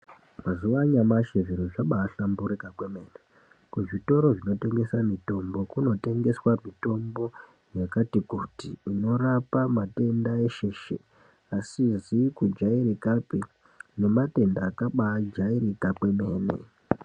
Mazuwa anyamashi zviro zvambahlamburika kwemene kuzvitoro zvinotengesa mitombo kunotongeswa mitombo yakati kuti inorapa matenda eshe eshe asizi kujairikapi nematenda yakabajairika kwemene.